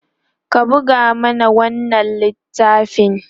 ka buga mana wannan littafin!